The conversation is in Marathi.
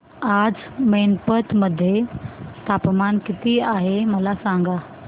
आज मैनपत मध्ये तापमान किती आहे मला सांगा